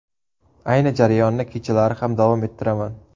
Ayni jarayonni kechalari ham davom ettiraman.